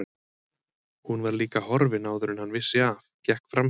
Hún var líka horfin áður en hann vissi af, gekk framhjá